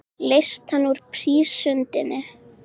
Leyst hann úr prísundinni.